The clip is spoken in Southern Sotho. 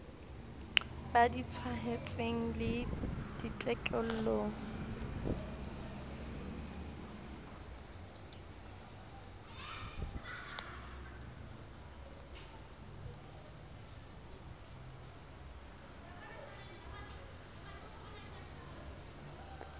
ba di tshwaetsweng le ditekolo